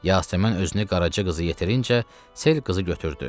Yasəmən özünü Qaraca qızı yetirincə sel qızı götürdü.